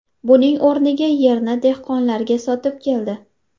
Buning o‘rniga yerni dehqonlarga sotib keldi.